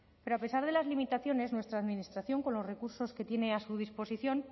pero a pesar de las limitaciones nuestra administración con los recursos que tiene a su disposición